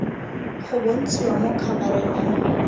go bontshiwa mo khabareng ya